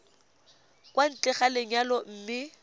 kwa ntle ga lenyalo mme